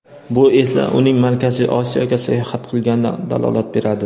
Bu esa uning Markaziy Osiyoga sayohat qilganidan dalolat beradi.